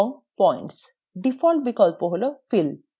default বিকল্প হল fill